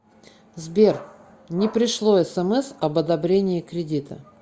сбер не пришло смс об одобрении кредита